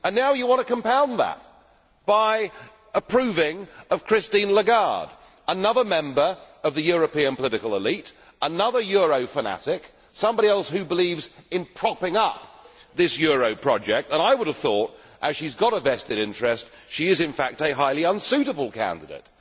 Now you want to compound that by approving Christine Lagarde another member of the European political elite, another euro fanatic, somebody else who believes in propping up this euro project and I would have thought that, as she has got a vested interest, she is, in fact, a highly unsuitable candidate.